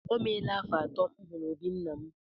O meela afọ atọ m hụrụ obí nna m.